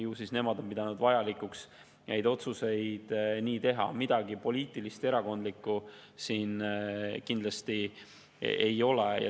Ju siis nemad on pidanud vajalikuks neid otsuseid nii teha, midagi poliitilist ega erakondlikku siin kindlasti ei ole.